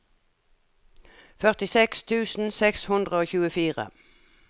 førtiseks tusen seks hundre og tjuefire